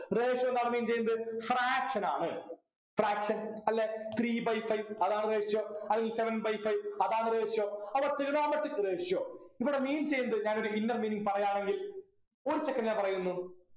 ratio എന്താ mean ചെയ്യുന്നത് fraction ആണ് fraction അല്ലെ three by five അതാണ് ratio അല്ലെങ്കിൽ seventy by five അതാണ് ratio അപ്പൊ Trigonometric ratio ഇവിടെ meaning ചെയ്യുന്നത് ഞാനൊരു inner meaning പറയാണെങ്കിൽ ഒരു second ഞാൻ പറയുന്നു